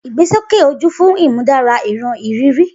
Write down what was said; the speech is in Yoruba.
Igbesoke oju fun imudara iran iriri.